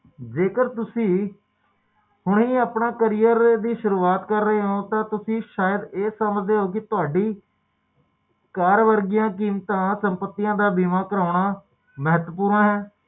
ਇਹ ਅਜੇਹੀ ਘਟਨਾ ਕਿ ਜਿਹੜੀ ਕਦੇ ਵੀ ਵਾਪਰ ਸਕਦੇ ਆ ਤੇ ਕਿਸੇ ਨਾਲ ਵੀ ਵਾਪਰ ਸਕਦੀ ਆ ਤੇ